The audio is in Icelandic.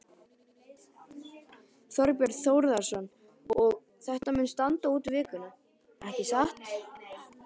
Þorbjörn Þórðarson: Og þetta mun standa út vikuna, ekki satt?